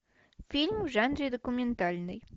фильм в жанре документальный